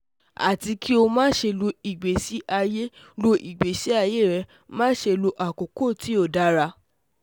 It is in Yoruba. Ati ki o ma ṣe lo igbesi aye lo igbesi aye rẹ, ma ṣe lo akoko ti o dara